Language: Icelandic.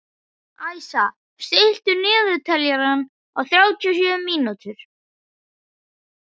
Æsa, stilltu niðurteljara á þrjátíu og sjö mínútur.